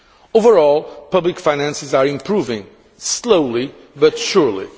Overall public finances are improving, slowly but surely.